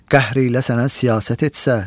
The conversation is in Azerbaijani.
qəhr eylə sənə siyasət etsə.